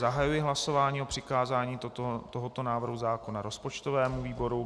Zahajuji hlasování o přikázání tohoto návrhu zákona rozpočtovému výboru.